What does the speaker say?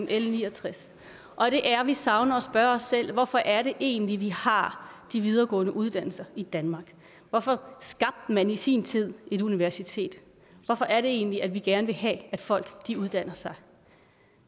l ni og tres og det er at vi savner at spørge os selv hvorfor er det egentlig vi har de videregående uddannelser i danmark hvorfor skabte man i sin tid et universitet hvorfor er det egentlig at vi gerne vil have at folk uddanner sig